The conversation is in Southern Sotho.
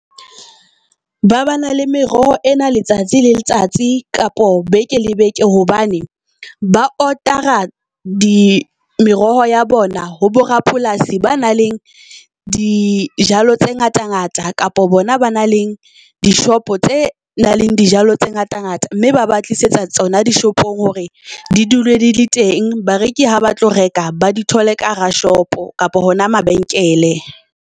Ba ba na le meroho e na letsatsi le letsatsi kapa beke le beke hobane ba order-a meroho ya bona ho bo rapolasi ba na le dijalo tse ngata ngata. Kapa bona ba na leng dishopo tse nang le dijalo tse ngata ngata, mme ba ba tlisetsa tsona dishopong hore di dule di le teng. Bareki ha ba tlo reka, ba di thole ka hara shop kapa hona mabenkele.